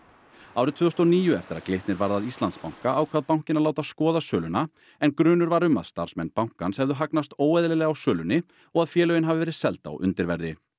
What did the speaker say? árið tvö þúsund og níu eftir að Glitnir varð að Íslandsbanka ákvað bankinn að láta skoða söluna en grunur var um að starfsmenn bankans hefðu hagnast óeðlilega á sölunni og að félögin hafi verið seld á undirverði